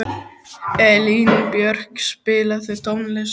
Elínbjörg, spilaðu tónlist.